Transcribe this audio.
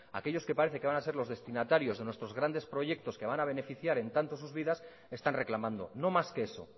aquellos que parecen que van ser los destinatarios de nuestros grandes proyectos que van a beneficiar en tanto sus vidas están reclamando no más que eso